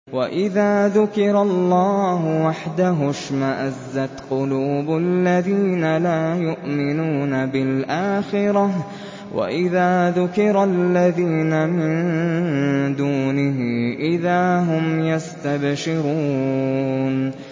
وَإِذَا ذُكِرَ اللَّهُ وَحْدَهُ اشْمَأَزَّتْ قُلُوبُ الَّذِينَ لَا يُؤْمِنُونَ بِالْآخِرَةِ ۖ وَإِذَا ذُكِرَ الَّذِينَ مِن دُونِهِ إِذَا هُمْ يَسْتَبْشِرُونَ